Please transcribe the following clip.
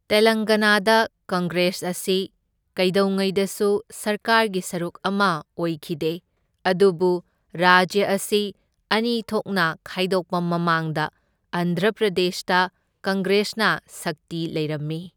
ꯇꯦꯂꯪꯒꯅꯥꯗ Congress ꯑꯁꯤ ꯀꯩꯗꯧꯉꯩꯗꯁꯨ ꯁꯔꯀꯥꯔꯒꯤ ꯁꯔꯨꯛ ꯑꯃ ꯑꯣꯏꯈꯤꯗꯦ, ꯑꯗꯨꯕꯨ ꯔꯥꯖ꯭ꯌ ꯑꯁꯤ ꯑꯅꯤ ꯊꯣꯛꯅ ꯈꯥꯏꯗꯣꯛꯄ ꯃꯃꯥꯡꯗ ꯑꯟꯙ꯭ꯔ ꯄ꯭ꯔꯗꯦꯁꯇ ꯀꯪꯒ꯭ꯔꯦꯁꯅ ꯁꯛꯇꯤ ꯂꯩꯔꯝꯃꯤ꯫